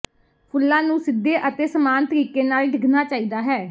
ਫੁੱਲਾਂ ਨੂੰ ਸਿੱਧੇ ਅਤੇ ਸਮਾਨ ਤਰੀਕੇ ਨਾਲ ਡਿੱਗਣਾ ਚਾਹੀਦਾ ਹੈ